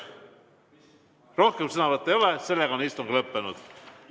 Rohkem sõnavõtte ei ole, istung on lõppenud.